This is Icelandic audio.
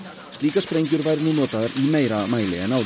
slíkar sprengjur væru nú notaðar í meira mæli en áður